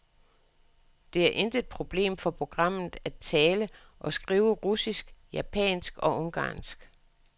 Det er intet problem for programmet at tale og skrive russisk, japansk og ungarsk.